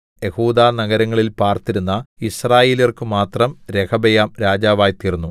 യെഹൂദാ നഗരങ്ങളിൽ പാർത്തിരുന്ന യിസ്രായേല്യർക്കു മാത്രം രെഹബെയാം രാജാവായിത്തീർന്നു